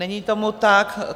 Není tomu tak.